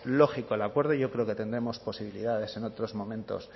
lógico el acuerdo yo creo que tendremos posibilidades en otros momentos